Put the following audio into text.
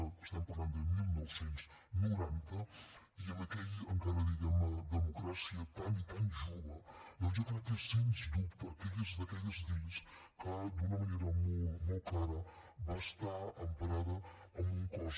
estem parlant de dinou noranta i amb aquella encara diguem ne democràcia tan i tan jove doncs jo crec que és sens dubte d’aquelles lleis que d’una manera molt clara va estar emparada amb un cos